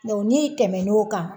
n'i tɛmɛn'o kan